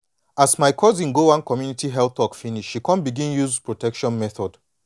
as my cousin go one community health talk finish she she come begin use protection method